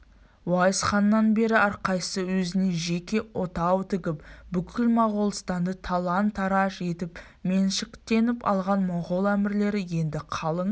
уайс ханнан бері әрқайсысы өзіне жеке отау тігіп бүкіл моғолстанды талан-тараж етіп меншіктеніп алған моғол әмірлері енді қалың